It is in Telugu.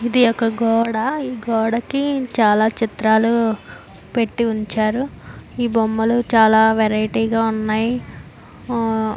ఇది ఒక గోడ ఈ గోడకి చాల చిత్రాలు పెట్టివుంచారు ఈ బొమ్మలు చాల వెరైటీగా ఉన్నాయ్ ఆహ్ --